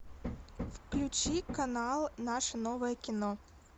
включи канал наше новое кино